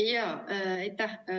Aitäh!